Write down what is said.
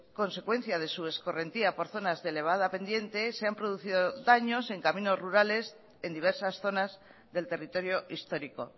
consecuencia de su escorrentía por zonas de elevada pendiente se han producido daños en caminos rurales en diversas zonas del territorio histórico